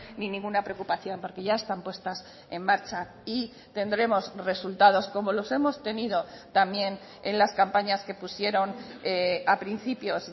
ni ninguna preocupación porque ya están puestas en marcha y tendremos resultados como los hemos tenido también en las campañas que pusieron a principios